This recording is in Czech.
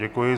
Děkuji.